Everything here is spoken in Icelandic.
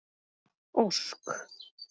Ósk